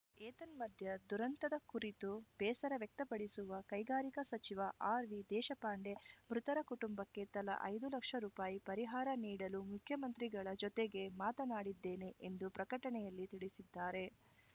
ಏತನ್ಮಧ್ಯೆ ದುರಂತದ ಕುರತು ಬೇಸರ ವ್ಯಕ್ತಪಡಿಸುವ ಕೈಗಾರಿಕಾ ಸಚಿವ ಆರ್‌ವಿದೇಶಪಾಂಡೆ ಮೃತರ ಕುಟುಂಬಕ್ಕೆ ತಲಾ ಐದು ಲಕ್ಷ ರುಪಾಯಿ ಪರಿಹಾರ ನೀಡಲು ಮುಖ್ಯಮಂತ್ರಿಗಳ ಜತೆಗೆ ಮಾತನಾಡಿದ್ದೇನೆ ಎಂದು ಪ್ರಕಟಣೆಯಲ್ಲಿ ತಿಳಿಸಿದ್ದಾರೆ